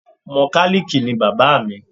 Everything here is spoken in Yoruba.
Mọkálíìkì ni bàbá mi